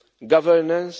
governance